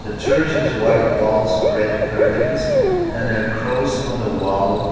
the church is white walls and red curtain and cross on the wall.